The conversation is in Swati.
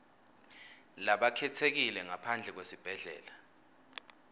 labakhetsekile ngaphandle kwesibhedlela